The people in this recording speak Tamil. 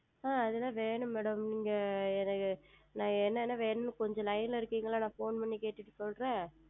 ஆஹ் அது எல்லாம் வேண்டும் Madam நீங்கள் எனக்கு நான் என்ன என்ன வேண்டும் என்று கொஞ்சம் Line ல இருக்கிறீர்களா நான் Phone செய்து கேட்டுட்டு சொல்லுகிறேன்